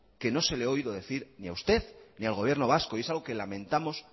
que no se lo he oído decir ni a usted ni al gobierno vasco y es algo que lamentamos